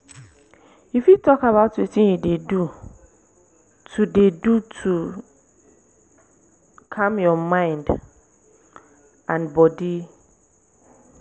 you fit talk about wetin you dey do to dey do to calm your mind and body?